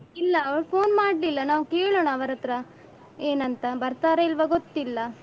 ಇಲ್ಲ ಅವ್ರು phone ಮಾಡ್ಲಿಲ್ಲ ನಾವ್ ಕೇಳೋಣ ಅವರತ್ರ ಏನಂತ ಬರ್ತರಾ ಇಲ್ವಾ ಗೊತ್ತಿಲ್ಲ.